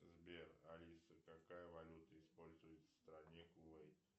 сбер алиса какая валюта используется в стране кувейт